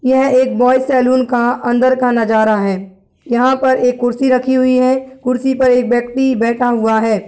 ये एक boys salon का अंदर का नज़ारा है यहाँ पर एक कुर्सी रखी हुई है कुर्सी पे एक व्यक्ति बैठ हुआ है।